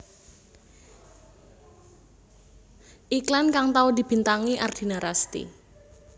Iklan kang tau dibintangi Ardina Rasti